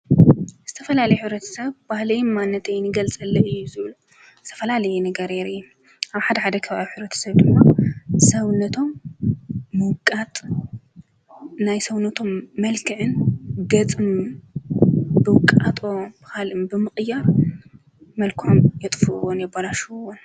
ዝተፈላል ኅረት ሰብ ባህለይ ማነተይንገልጸለ እዩ ዙል ዝተፈላለየ ነገርይር ኣብ ሓድ ሓደ ኽብኣብ ኅረት ሰብ ድሎ ሰውነቶም ምውቃጥ ናይ ሰውነቶም መልክዕን ገጽም ብውቃጦ ብኻልም ብምቕያር መልኮም የጥፍወን የበላሽዉዎን።